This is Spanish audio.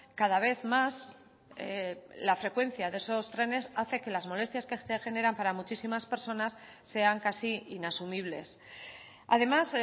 cada vez más la frecuencia de esos trenes hace que las molestias que se generan para muchísimas personas sean casi inasumibles además